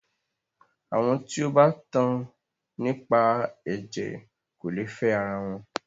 Àwọn tí o bá tan nípa ẹ̀jẹ̀ kò lè fẹ ara wọn.